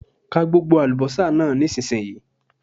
Ka gbogbo àlùbọ́sà náà nísìnyí!